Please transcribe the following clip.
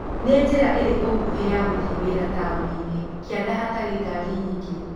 Nĩ njĩra ĩrĩkũ nguhĩ ya gũthiĩ wĩra taũniinĩ kianda hatarĩ ngari nyingĩ